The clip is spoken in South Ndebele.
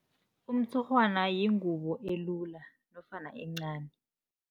Umtshurhwana yingubo elilula nofana encani.